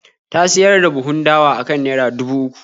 Ta siyar da buhun dawa akan naira dubu uku.